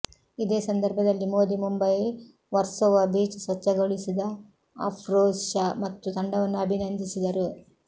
ಇದೇ ಸಂದರ್ಭದಲ್ಲಿ ಮೋದಿ ಮುಂಬೈ ವರ್ಸೋವಾ ಬೀಚ್ ಸ್ವಚ್ಛಗೊಳಿಸಿದ ಅಫ್ರೋಜ್ ಶಾ ಮತ್ತು ತಂಡವನ್ನು ಅಭಿನಂದಿಸಿದರು